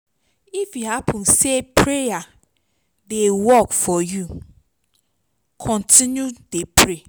if e hapun sey prayer dey work for yu kontinu dey pray